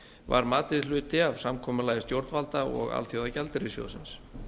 var matið hluti af samkomulagi stjórnvalda og alþjóðagjaldeyrissjóðsins